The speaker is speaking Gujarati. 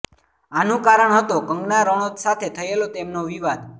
આનુ કારણ હતો કંગના રનોત સાથે થયેલા તેમનો વિવાદ